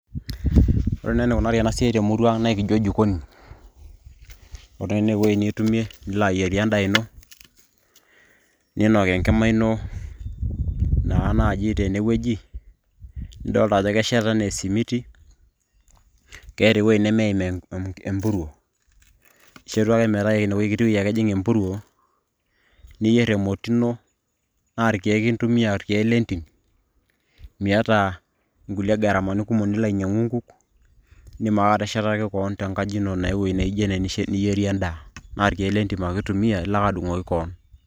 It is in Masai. ore naa enikunari ena siai temurua ang' naa ekincho jikoni, ore naa ene wueji nitumie, nilo ayierie edaa ino, ninok enkima ino, naa naaji tene wueji, nidoolta anaa kesheta anaa esimiti, keeta ewueji nemeim empuruo, ishetu ake metaa ine kiti weuji ake eim empuruo, niyier emoti ino, naa irkeek intumia irkeek lentim, miata inkulie garamani kumok nilo ainyiang'u inkuk. idim ake ateshataki kewon tenkaji ino ewueji niyirie edaa. naa irkeek letim ake itumiya ilo ake adung'oki kewon.